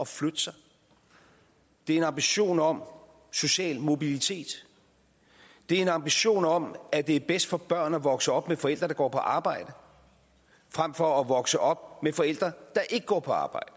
flytte sig det er en ambition om social mobilitet det er en ambition om at det er bedst for børn at vokse op med forældre der går på arbejde frem for at vokse op med forældre der ikke går på arbejde